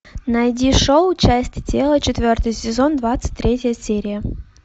найди шоу части тела четвертый сезон двадцать третья серия